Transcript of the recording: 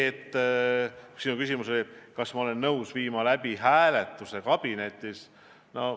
Sinu küsimus oli, kas ma olen nõus kabinetis hääletuse läbi viima.